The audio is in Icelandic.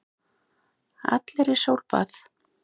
Allir í sólbað!